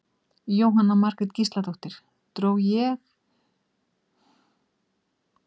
Jóhanna Margrét Gísladóttir: Dró þig ekki of mikið niður?